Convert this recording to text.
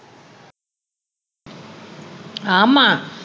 ஆமா